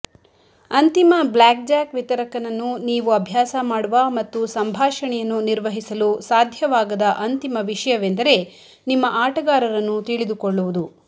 ಅಂತಿಮ ಬ್ಲ್ಯಾಕ್ಜಾಕ್ ವಿತರಕನನ್ನು ನೀವು ಅಭ್ಯಾಸ ಮಾಡುವ ಮತ್ತು ಸಂಭಾಷಣೆಯನ್ನು ನಿರ್ವಹಿಸಲು ಸಾಧ್ಯವಾಗದ ಅಂತಿಮ ವಿಷಯವೆಂದರೆ ನಿಮ್ಮ ಆಟಗಾರರನ್ನು ತಿಳಿದುಕೊಳ್ಳುವುದು